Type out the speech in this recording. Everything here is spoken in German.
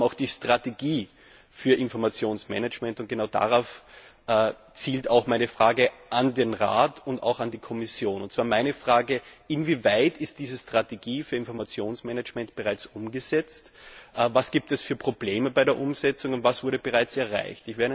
Wir haben auch die Strategie für Informationsmanagement, und genau darauf zielt auch meine Frage an den Rat und auch an die Kommission Inwieweit ist diese Strategie für Informationsmanagement bereits umgesetzt, was gibt es für Probleme bei der Umsetzung, und was wurde bereits erreicht?